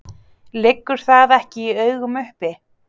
Liggur það ekki í augum uppi?